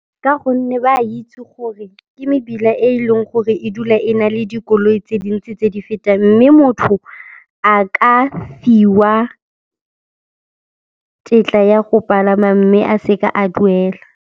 Ka gonne ba itse gore ke mebila e leng gore e dula e na le dikoloi tse dintsi tse di fetang mme motho a ka fiwa tetla ya go palama mme a seka a duela.